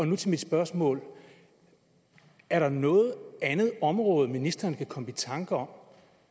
nu til mit spørgsmål er der noget andet område som ministeren kan komme i tanker om